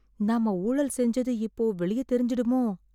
நாம ஊழல் செஞ்சது இப்போ வெளிய தெரிஞ்சிடுமோ...